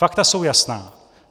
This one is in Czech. Fakta jsou jasná.